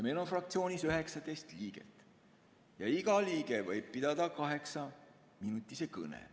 Meil on fraktsioonis 19 liiget ja iga liige võib pidada kaheksaminutise kõne.